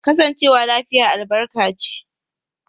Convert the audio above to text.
Kasancewa lafiya albarka ce.